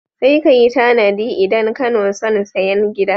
Sai ka yi tanadi idan kano son sayen gida.